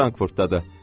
Frankfurtdadır.